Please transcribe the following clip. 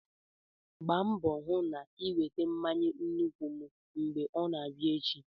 Gbaa mbọ hụ na ị weta mmanya nkwụ m mgbe ọ na-abịa echi!